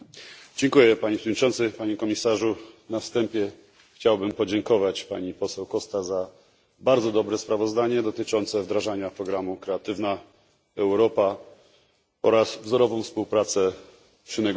Panie Przewodniczący! Na wstępie chciałbym podziękować pani poseł Coście za bardzo dobre sprawozdanie dotyczące wdrażania programu Kreatywna Europa oraz wzorową współpracę przy negocjacjach.